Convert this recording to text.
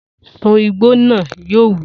Sun igbó naa! Yóò wí.